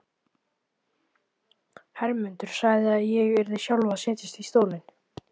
Hermundur sagði að ég yrði sjálf að setjast í stólinn.